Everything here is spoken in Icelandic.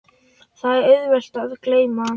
Það er auðvelt að gleyma.